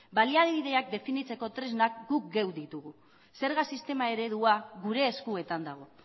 baliabideak definitzeko tresnak guk geuk ditugu zerga sistema eredua gure eskuetan dago